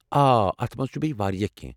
آ، اتھ منٛز چھُ بیٚیہِ واریاہ کٮ۪نٛہہ